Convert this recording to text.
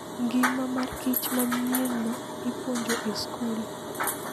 Ngima mar kich manyienno ipuonjo e skul.